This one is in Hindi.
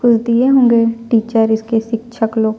कुछ दिए होंगे टीचर इसके शिक्षक लोग --